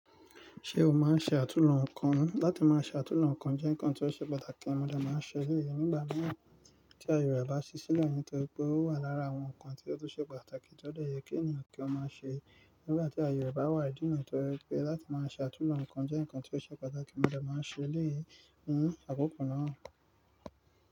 Ṣé o máa ń ṣe àtúnoò ǹkan? Láti máa ṣe àtúnoò ǹkan jẹ́ nǹkan tí ó ṣe pàtàkì, mo dè máa ṣe eleyi. Nígbà mìíràn tí aye rẹ̀ bá sí sílẹ̀, nítorí pé ó wà lára àwọn nǹkan tí ó tun ṣe pàtàkì tí ó dẹ̀ yẹ kí ènìyàn kí ó máa ṣe nígbà tí aye rẹ̀ bá wà ìdi ni yii, torí pé láti máa ṣe àtúnoò ǹkan jẹ́ nǹkan tí ó ṣe pàtàkì, mo dẹ̀ máa nse eleyii. Hmm, àkókò náà.